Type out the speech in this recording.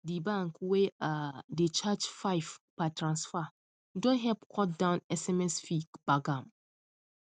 di bank wey um dey charge five per transfer don help cut down sms fee gbagam